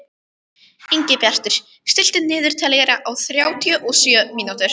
Ingibjartur, stilltu niðurteljara á þrjátíu og sjö mínútur.